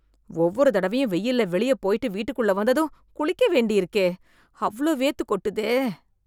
ஒவ்வொரு தடவையும் வெயில்ல வெளியே போய்ட்டு வீட்டுக்குள்ள வந்ததும், குளிக்கவேண்டி இருக்கே... அவ்ளோ வேர்த்து கொட்டுதே..